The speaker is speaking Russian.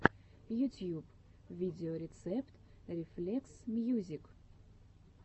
ютьюб видеорецепт рефлексмьюзик